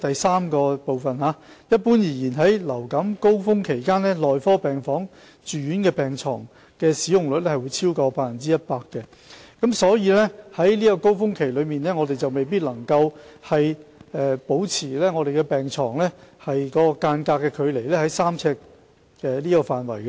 三一般而言，在流感高峰期期間，內科病房住院病床使用率會超越 100%， 所以，在高峰期內，我們未必能將病床之間的距離維持在3呎的範圍內。